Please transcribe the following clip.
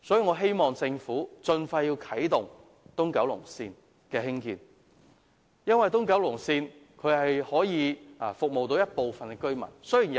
我希望政府盡快落實興建東九龍線，以服務部分市民。